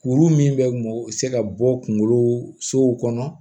Kuru min bɛ mɔ se ka bɔ kunkolo sow kɔnɔ